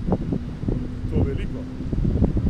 In to veliko.